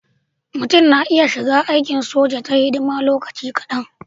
Mutum na iya shiga aikin soja ta hidima lokaci kadan.